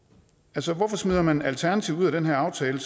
altså hvorfor smider man alternativet ud af den her aftale